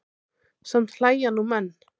Samt hlæja nú menn.